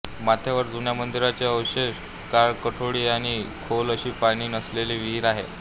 माथ्यावर जुन्या मंदिराचे अवशेष काळकोठडी आहे व खोल अशी पाणी नसलेली विहीर आहे